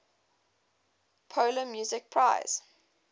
polar music prize